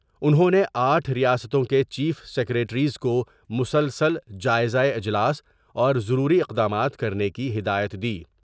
انہوں نے آٹھ ریاستوں کے چیف سیکریٹریز موسلسل جائزہ اجلاس اور ضروری اقدامات کرنے کی ہدایت دی ۔